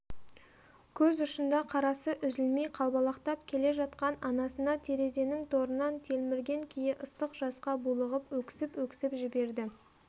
көз ұшында қарасы үзілмей қалбалақтап келе жатқан анасына терезенің торынан телмірген күйі ыстық жасқа булығып өксіп-өксіп жіберді